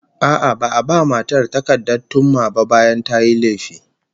A'a, ba'a ba matar takardar thumma ba bayan tayi laifi